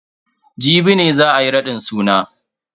Jibi ne za ayi raɗin suna.